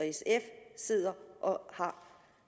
og sf sidder og har